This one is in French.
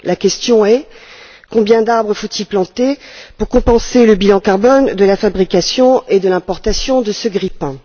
La question est combien d'arbres faut il planter pour compenser le bilan carbone de la fabrication et de l'importation de ce grille pain?